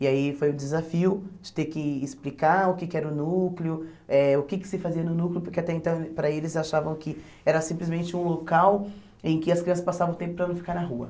E aí foi um desafio de ter que explicar o que que era o núcleo, eh o que que se fazia no núcleo, porque até então para eles achavam que era simplesmente um local em que as crianças passavam o tempo para não ficar na rua.